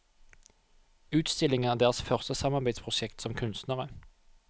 Utstillingen er deres første samarbeidsprosjekt som kunstnere.